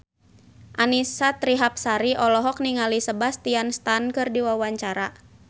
Annisa Trihapsari olohok ningali Sebastian Stan keur diwawancara